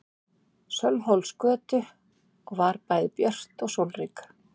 Sölvhólsgötu og var bæði björt og sólrík.